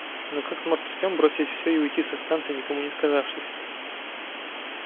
но как сможет артём бросить всё и уйти со станции никому не сказавшись